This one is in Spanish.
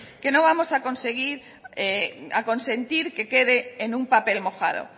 que no vamos a consentir que quede en un papel mojado